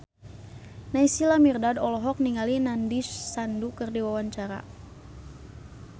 Naysila Mirdad olohok ningali Nandish Sandhu keur diwawancara